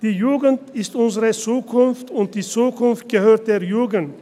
Die Jugend ist unsere Zukunft und die Zukunft gehört der Jugend.